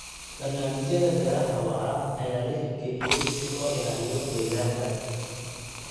Barnaamijyada beeraha waara ayaa la hirgeliyay si loo ilaaliyo deegaanka.